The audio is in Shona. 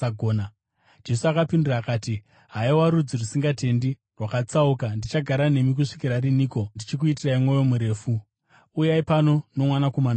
Jesu akapindura akati, “Haiwa rudzi rusingatendi, rwakatsauka, ndichagara nemi kusvikira riniko ndichikuitirai mwoyo murefu? Uyai pano nomwanakomana wenyu.”